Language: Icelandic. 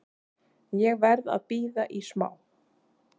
Ég verð að bíða í smá.